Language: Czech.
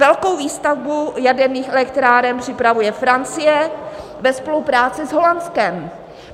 Velkou výstavbu jaderných elektráren připravuje Francie ve spolupráci s Holandskem.